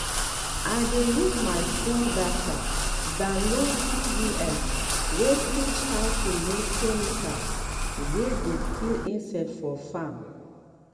i dey use my fon data download pdf um wey teach how to make chemical wey go kill insect um for farm.